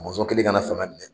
mɔnzɔn kɛlen ka na fanga minɛ